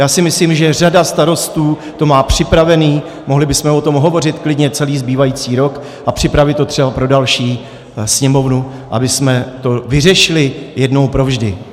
Já si myslím, že řada starostů to má připravené, mohli bychom o tom hovořit klidně celý zbývající rok a připravit to třeba pro další Sněmovnu, abychom to vyřešili jednou provždy.